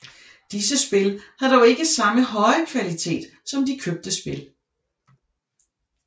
Disse spil havde dog ikke samme høje kvalitet som de købte spil